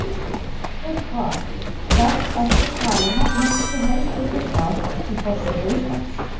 Spurt var: Hvert eftirtalinna myndir þú helst vilja sjá sem forseta Íslands?